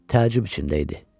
Təəccüb içində idi.